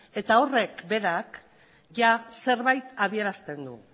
horrek berak zerbait adierazten du